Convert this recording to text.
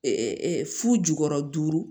fu jukɔrɔ duuru